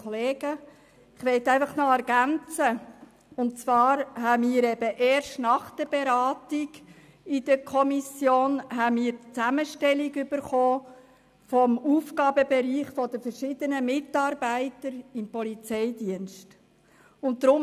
Ich möchte ergänzen, dass wir erst nach der Beratung in der Kommission die Zusammenstellung des Aufgabenbereichs der verschiedenen Mitarbeitenden im Polizeidienst erhalten haben.